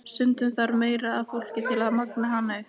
Stundum þarf meira af fólki til að magna hana upp.